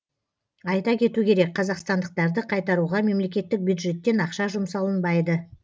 айта кету керек қазақстандықтарды қайтаруға мемлекеттік бюджеттен ақша жұмсалынбайды